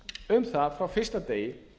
um það frá fyrsta degi